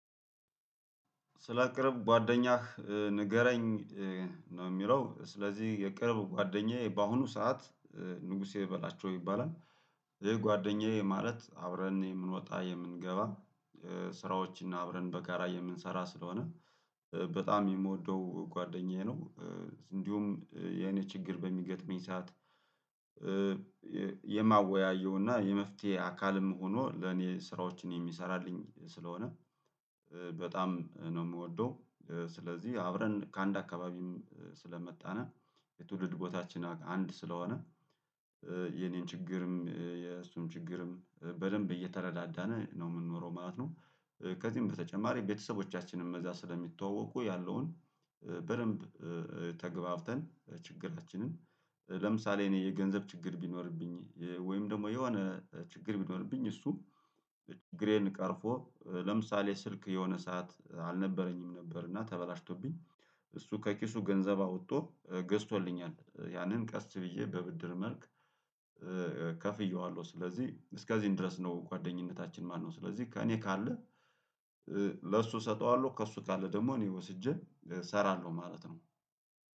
ስለ ቅርብ ጓደኛህ ንገረኝ? ነው የሚለው ስለዚህ የቅርብ ጓደኛዬ በአሁኑ ሰዓት ንጉሴ በላቸው ይባላል ይሄ ጓደኛዬ ማለት አብረን የምንወጣ የምንገባ ስራዎችን አብረን በጋራ የምንሰራ ስለሆነ በጣም የምወደው ጓደኛዬ ነው። እንዲሁም የኔ ችግር በሚገጥመኝ ሰዓት የማወያየውና እና የመፍትሄ አካልም ሆኖ ለኔ ስራዎችን የሚሰራልኝ ስለሆነ በጣም ነው የምወደው። ስለዚህ አብረን ከአንድ አካባቢም ስለመጣነ የትውልድ ቦታችን አንድ ስለሆነ የኔን ችግርም የእሱን ችግርም በደንብ እየተረዳዳነ ነው የምንኖረው ማለት ነው። ከዚህም በተጨማሪ ቤተሰቦቻችንን ከዛ ስለሚተዋወቁ ያለውን በደንብ ተገብተን ችግራችንን ለምሳሌ እኔ የገንዘብ ችግር ቢኖርብኝ ወይም ደግሞ የሆነ ችግር ቢኖርብኝ እሱ ችግሬን ቀርፎ ለምሳሌ ስልክ የሆነ ሰዓት አልነበረኝም ነበር እና ተበላሽቶብኝ እሱ ከኪሱ ገንዘብ አውጥቶ ገዝቶልኛል ያንን ቀስ ብዬ በብድር መልክ ከፍየዋለሁ ስለዚህ እስከዚህ እንድረስ ነው። ጓደኝነታችን ማነው ስለዚህ ከእኔ ካለ ለእሱ እሰጠዋለሁ ከእሱ ካለ ደግሞ እኔ ወስጄ እሰራለሁ ማለት ነው